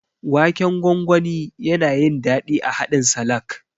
Waken gwangwani, yana yin daɗi a haɗin salak.